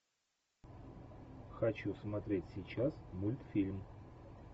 хочу смотреть сейчас мультфильм